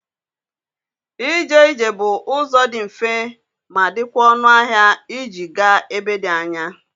. Ije ije bụ ụzọ dị mfe ma dịkwa ọnụ ahịa iji gaa ebe dị anya.